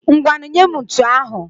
Ngwanụ nyee m ntu ahụ.